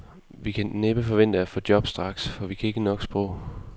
Vi kan næppe forvente at få job straks, for vi kan ikke nok sprog.